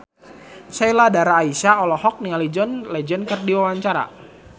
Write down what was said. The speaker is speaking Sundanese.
Sheila Dara Aisha olohok ningali John Legend keur diwawancara